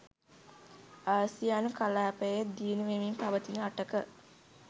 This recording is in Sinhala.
ආසියානු කලාපයේ දියුණු වෙමින් පවතින රටක